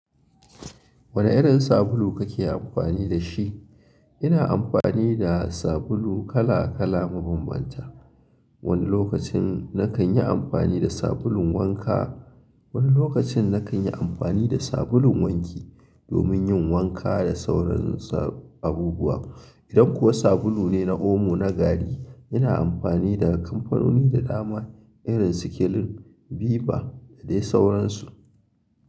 Wane irin sabulu kake amfani da shi? Ina amfani da sabulu kala kala mabambanta. Wani lokacin nakan yi amfani da sabulun wanka, wani lokacin nakan yi amfani da sabulun wanki domin yin wanka da sauransu abubuwa. Idan kuwa sabulu ne na omo na gari, ina amfani da kamfanoni da dama irin su Kelin, Biba da dai sauransu.